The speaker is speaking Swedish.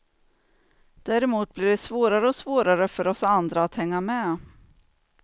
Däremot blir det svårare och svårare för oss andra att hänga med.